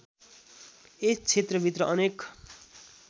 यस क्षेत्रभित्र अनेक